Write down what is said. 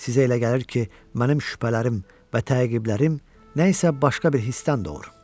Sizə elə gəlir ki, mənim şübhələrim və təqiblərim nə isə başqa bir hisdən doğur.